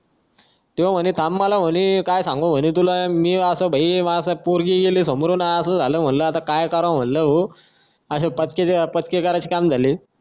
तो म्हणे थांब मला म्हणे काय सांगू म्हणी तुला मी असं पोरगी गेली समोरून असं म्हंटल असं झाल काय करावं म्हणल भो पक्के करायचं काम झाले